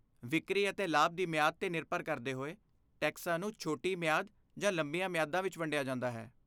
ਵਿਕਰੀ ਅਤੇ ਲਾਭ ਦੀ ਮਿਆਦ 'ਤੇ ਨਿਰਭਰ ਕਰਦੇ ਹੋਏ, ਟੈਕਸਾਂ ਨੂੰ ਛੋਟੀ ਮਿਆਦ ਜਾਂ ਲੰਬੀਆਂ ਮਿਆਦਾਂ ਵਿੱਚ ਵੰਡਿਆ ਜਾਂਦਾ ਹੈ।